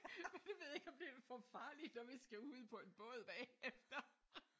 Jeg ved ikke om det er for farligt når vi skal ud på en båd bagefter